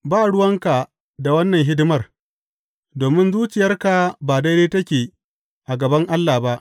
Ba ruwanka da wannan hidimar, domin zuciyarka ba daidai take a gaban Allah ba.